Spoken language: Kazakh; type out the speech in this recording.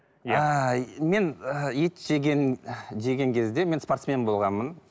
мен ы ет жеген жеген кезде мен спортсмен болғанмын